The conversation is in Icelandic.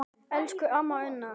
Elsku amma Unnur.